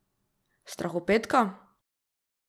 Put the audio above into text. Strahopetka?